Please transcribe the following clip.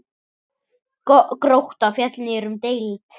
Grótta féll niður um deild.